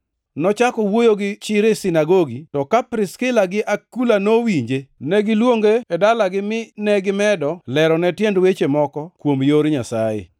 Nochako wuoyo gi chir e sinagogi, to ka Priskila gi Akula nowinje, ne giluonge e dalagi mine gimedo lerone tiend weche moko kuom yor Nyasaye.